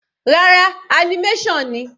Rárá, animation ni.